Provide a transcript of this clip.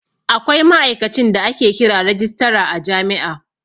Akwai ma'aikacin da ake kira rajistara a jami'a